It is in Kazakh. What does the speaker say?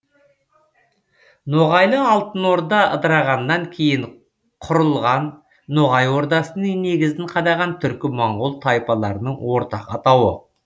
ноғайлы алтын орда ыдырағаннан кейін құрылған ноғай ордасының негізін қадаған түркі моңғол тайпаларының ортақ атауы